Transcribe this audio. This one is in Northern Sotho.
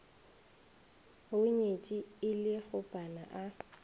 hunyetše e le kgopana a